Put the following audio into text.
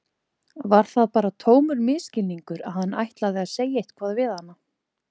Var það bara tómur misskilningur að hann ætlaði að segja eitthvað við hana?